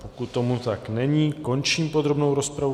Pokud tomu tak není, končím podrobnou rozpravu.